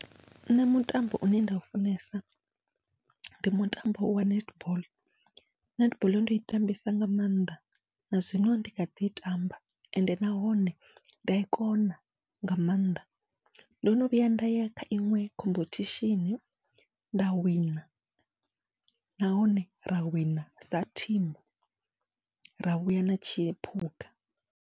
Nṋe mutambo une nda u funesa ndi mutambo wa netball, netball ndo i tambesa nga maanḓa nazwino ndi khaḓi i tamba ende nahone nda i kona nga maanḓa, ndono vhuya ndaya kha iṅwe khomphethishini nda wina nahone ra wina sa thimu ra vhuya na tshiphuga.